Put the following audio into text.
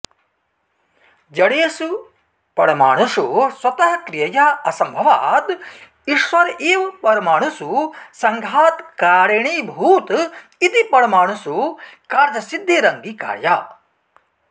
जडेषु पमाणुषु स्वतः क्रियया असम्भवात् ईश्वर एव परमाणुषु सङ्घातकारणीभूत इति परमाणुषु कार्यसिद्धिरङ्गीकार्या